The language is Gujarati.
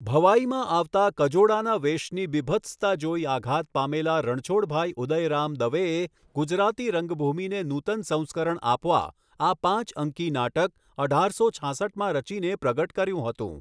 ભવાઇમાં આવતા કજોડાના વેશની બીભત્સતા જોઈ આઘાત પામેલા રણછોડભાઈ ઉદયરામ દવેએ ગુજરાતી રંગભૂમિને નૂતન સંસ્કરણ આપવા આ પાંચ અંકી નાટક અઢારસો છાસઠમાં રચીને પ્રગટ કર્યું હતું.